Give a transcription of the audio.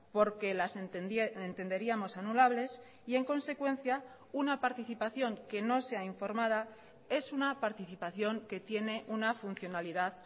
porque las entenderíamos anulables y en consecuencia una participación que no sea informada es una participación que tiene una funcionalidad